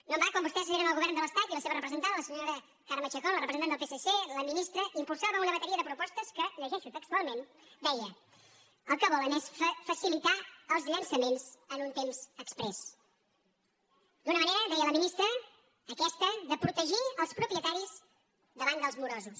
no en va quan vostès eren al govern de l’estat la seva representant la senyora carme chacón la repre·sentant del psc la ministra impulsava una bateria de propostes que ho llegeixo textualment deia el que volen és facilitar els llançaments en un temps exprés una manera deia la ministra aquesta de protegir els propietaris davant dels morosos